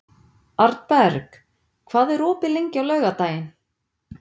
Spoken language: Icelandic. Arnberg, hvað er opið lengi á laugardaginn?